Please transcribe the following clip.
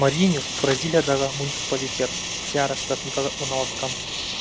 морриньюс бразилиядағы муниципалитет сеара штатында орналасқан